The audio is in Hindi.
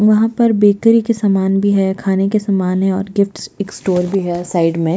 वहाँ पर बेकरी के सामान भी है खाने के सामान है और गिफ्ट्स स्टोर भी है साइड में --